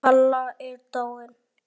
Kalla er dáin.